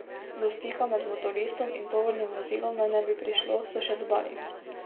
Do stika med motoristom in tovornim vozilom naj ne bi prišlo, so še dodali.